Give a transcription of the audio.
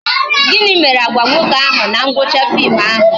Gịnị mere Agwa nwoke ahụ na ngwụcha fim ahụ?